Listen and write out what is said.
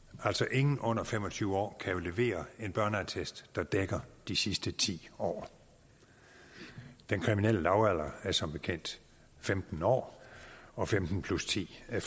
ingen under fem og tyve år kan jo levere en børneattest der dækker de sidste ti år den kriminelle lavalder er som bekendt femten år og femten plus ti er